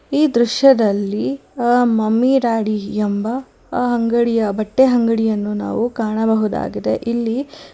ಈ ದೃಶ್ಯದಲ್ಲಿ ಆ ಮಮ್ಮಿ ಡ್ಯಾಡಿ ಎಂಬ ಆ ಅಂಗಡಿಯ ಬಟ್ಟೆ ಅಂಗಡಿಯನ್ನು ನಾವು ಕಾಣಬಹುದಾಗಿದೆ ಇಲ್ಲಿ--